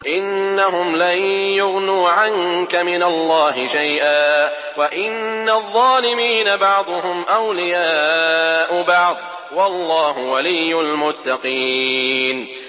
إِنَّهُمْ لَن يُغْنُوا عَنكَ مِنَ اللَّهِ شَيْئًا ۚ وَإِنَّ الظَّالِمِينَ بَعْضُهُمْ أَوْلِيَاءُ بَعْضٍ ۖ وَاللَّهُ وَلِيُّ الْمُتَّقِينَ